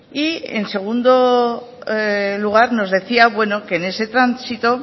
y en segundo lugar nos decían bueno que en ese tránsito